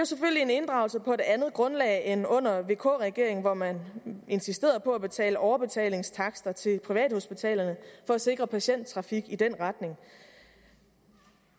selvfølgelig en inddragelse på et andet grundlag end under vk regeringen hvor man insisterede på at betale overbetalingstakster til privathospitalerne for at sikre patienttrafik i den retning